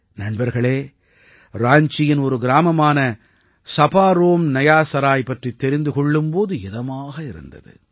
நண்பர்களே ராஞ்சியின் ஒரு கிராமமான சபாரோம் நயா சராய் பற்றித் தெரிந்து கொள்ளும் போது இதமாக இருந்தது